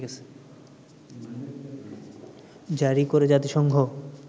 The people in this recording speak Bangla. জারি করে জাতিসংঘ